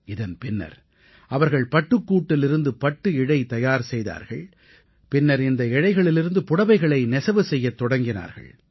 இதன் பின்னர் அவர்கள் பட்டுக்கூட்டிலிருந்து பட்டு இழை தயார் செய்தார்கள் பின்னர் இந்த இழைகளிலிருந்து புடவைகளை நெசவு செய்யத் தொடங்கினார்கள்